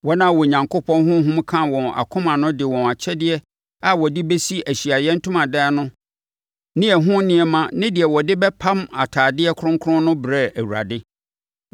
Wɔn a Onyankopɔn honhom kaa wɔn akoma no de wɔn akyɛdeɛ a wɔde bɛsi Ahyiaeɛ Ntomadan no ne ɛho nneɛma ne deɛ wɔde bɛpam atadeɛ kronkron no brɛɛ Awurade.